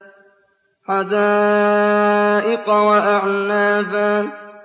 حَدَائِقَ وَأَعْنَابًا